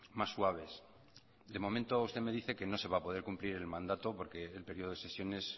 más suaves de momento usted me dice que no se va a poder cumplir el mandato porque el periodo de sesiones